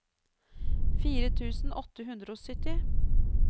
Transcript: fire tusen åtte hundre og sytti